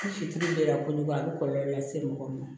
Ni fitiri ye la ko a bɛ kɔlɔlɔ lase mɔgɔ ma